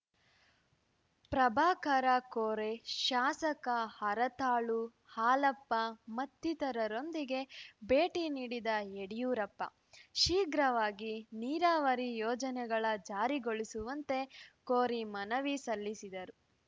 ಪ್ರಭಾಕರ ಕೋರೆ ಶಾಸಕ ಹರತಾಳು ಹಾಲಪ್ಪ ಮತ್ತಿತರರೊಂದಿಗೆ ಭೇಟಿ ನೀಡಿದ ಯಡಿಯೂರಪ್ಪ ಶೀಘ್ರವಾಗಿ ನೀರಾವರಿ ಯೋಜನೆಗಳ ಜಾರಿಗೊಳಿಸುವಂತೆ ಕೋರಿ ಮನವಿ ಸಲ್ಲಿಸಿದರು